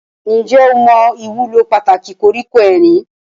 Ǹjẹ́ o mọ ìwúlò pàtàkì koríko erin?